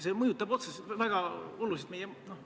See on probleem, selle halva praktika me peame murdma.